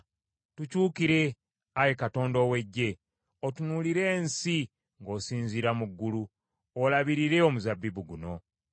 Tukyukire, Ayi Katonda ow’Eggye, otunuulire ensi ng’osinziira mu ggulu; olabirire omuzabbibu guno.